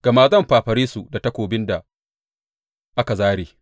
Gama zan fafare su da takobin da aka zāre.